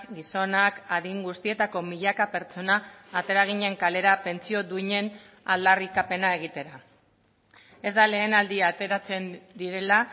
gizonak adin guztietako milaka pertsona atera ginen kalera pentsio duinen aldarrikapena egitera ez da lehen aldia ateratzen direla